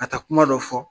Ka taa kuma dɔ fɔ